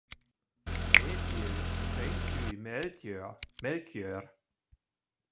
Edil, hringdu í Melkjör.